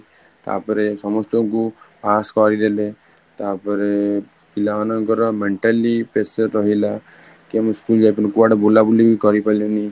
ତା ପରେ ସମସ୍ତଙ୍କୁ pass କରିଦେଲେ ତାପରେ ପିଲା ମାନେ mentally pressure ରହିଲା, କେମିତି school ଯାଇ ପରିଲେନି, କୁଆଡେ ବୁଲ ବୁଲି କରି ପାରିଲେନି